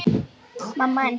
Jú, það er öruggt.